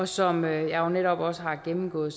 som jeg jo netop også har gennemgået